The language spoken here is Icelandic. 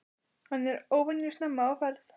Hann er óvenju snemma á ferð.